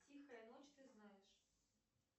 тихая ночь ты знаешь